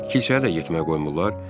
Kilsəyə də getməyə qoymurlar?